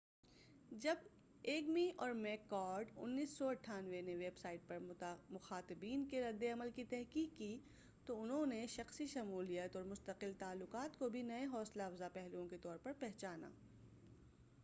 جب ایگمی اور میک کارڈ 1998 نے ویب سائٹ پر مخاطبین کے رد عمل کی تحقیق کی، تو انھوں نے شخصی شمولیت اور مستقل تعلقات کو بھی نئے حوصلہ افزاء پہلوؤں کے طور پر پہچانا۔